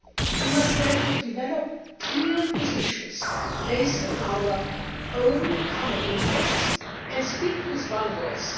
We must therefore develop clear positions based on our own common interests, and speak with one voice.